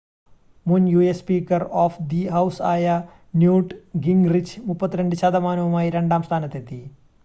മുൻ US speaker of the house ആയ Newt Gingrich 32 ശതമാനവുമായി രണ്ടാം സ്ഥാനത്തെത്തി